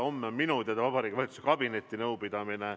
Homme on minu teada Vabariigi Valitsuse kabinetinõupidamine.